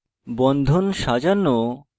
বন্ধন সাজানো